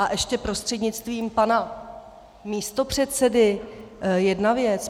A ještě prostřednictvím pana místopředsedy jedna věc.